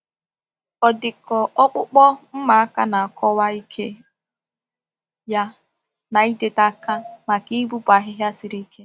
Ọdịkọ ọkpụkpụ mma aka na-akọwa ike ya na ịdịte aka maka ịpụpụ ahịhịa siri ike.